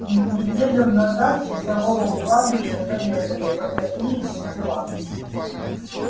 неделю назад часового у кладбища зарезали вот какие тут дела